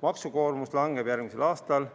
Maksukoormus langeb järgmisel aastal